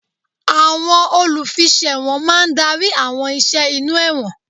Àwọn olùfiṣẹ̀wọ̀n máa ń darí àwọn ìṣe inú ẹ̀wọ̀n.